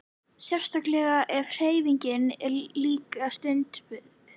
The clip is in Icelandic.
Sérstaklega ef hreyfing er líka stunduð.